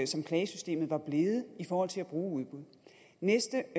som klagesystemet var blevet i forhold til at bruge udbud næste